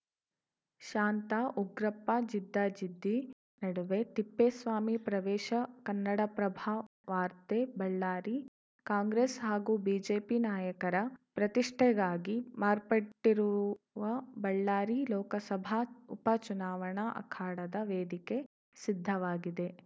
ಶಾಂತಾ ಉಗ್ರಪ್ಪ ಜಿದ್ದಾಜಿದ್ದಿ ನಡುವೆ ತಿಪ್ಪೇಸ್ವಾಮಿ ಪ್ರವೇಶ ಕನ್ನಡಪ್ರಭವಾರ್ತೆ ಬಳ್ಳಾರಿ ಕಾಂಗ್ರೆಸ್‌ ಹಾಗೂ ಬಿಜೆಪಿ ನಾಯಕರ ಪ್ರತಿಷ್ಠೆಗಾಗಿ ಮಾರ್ಪಟ್ಟಿರುವ ಬಳ್ಳಾರಿ ಲೋಕಸಭಾ ಉಪ ಚುನಾವಣಾ ಅಖಾಡದ ವೇದಿಕೆ ಸಿದ್ಧವಾಗಿದೆ